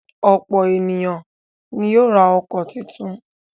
Ọ̀pọ̀ ènìyàn ni yóò ra ọkọ̀ tuntun.